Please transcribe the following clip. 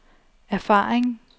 erfaring